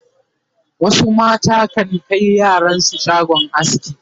wasu mata kan Kai yaran su shagon aski